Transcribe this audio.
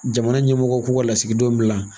Jamana ɲɛmɔgɔ k'u ka lasigidenw bila